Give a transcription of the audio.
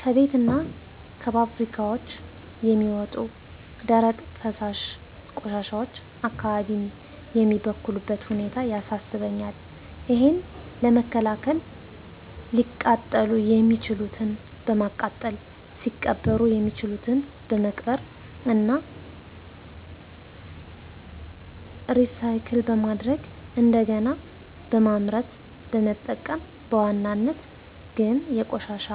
ከቤትና ከፋብሪካዎች የሚወጡ ደረቅና ፈሳሽ ቆሻሻዎች አካባቢን የሚበክሉበት ሁኔታ ያሳስበኛል። እሔን ለመከላከል ሊቃጠሉ የሚችሉትን በማቃጠል ሊቀበሩ ያሚችሉትን በመቅበር እና ሪሳይክል በማድረግ እንደገና በማምረት በመጠቀም በዋናነት ግን የቆሻሻ